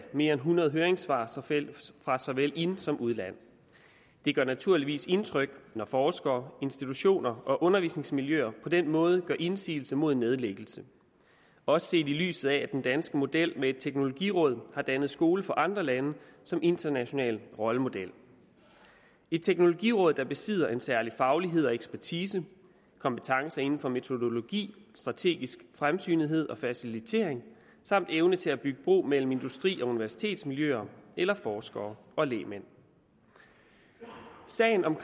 mere end hundrede høringssvar fra såvel ind som udland det gør naturligvis indtryk når forskere institutioner og undervisningsmiljøer på den måde gør indsigelse mod en nedlæggelse også set i lyset af at den danske model med et teknologiråd har dannet skole for andre lande som international rollemodel et teknologiråd der besidder en særlig faglighed og ekspertise kompetencer inden for metodologi strategisk fremsynethed og facilitering samt evne til at bygge bro mellem industri og universitetsmiljøer eller forskere og lægmænd sagen om